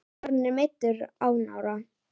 Aron er meiddur á nára.